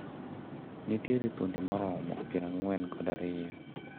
Nitiere dhoudi maromo pier ang`wen kod ariyo.